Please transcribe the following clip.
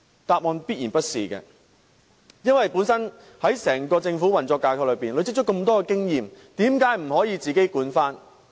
答案必然是否定的，因為在整個政府運作架構內，政府累積了這麼多經驗，為甚麼不可以自己管理？